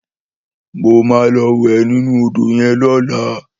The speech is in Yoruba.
Mó má lò wè ninú ódó yèn lòlá